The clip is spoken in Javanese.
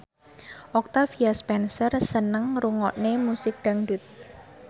Octavia Spencer seneng ngrungokne musik dangdut